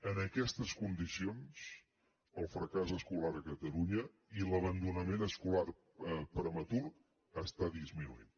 en aquestes condicions el fracàs escolar a catalunya i l’abandonament escolar prematur estan disminuint